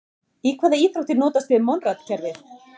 Í hvaða íþrótt er notast við Monrad-kerfið?